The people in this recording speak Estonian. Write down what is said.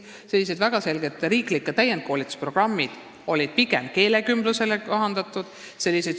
Samuti on riiklikud täienduskoolituse programmid olnud pigem keelekümblusele kohandatud.